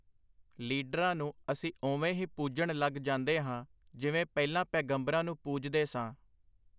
ਲੀਡਰਾਂ ਨੂੰ ਅਸੀਂ ਓਵੇਂ ਹੀ ਪੂਜਣ ਲਗ ਜਾਂਦੇ ਹਾਂ, ਜਿਵੇਂ ਪਹਿਲਾਂ ਪੈਗੰਬਰਾਂ ਨੂੰ ਪੂਜਦੇ ਸਾਂ.